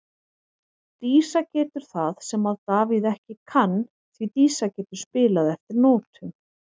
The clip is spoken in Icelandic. Dísa getur það sem að Davíð ekki kann, því Dísa getur spilað eftir nótum.